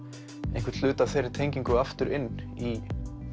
einhvern hluta af þeirri tengingu aftur inn í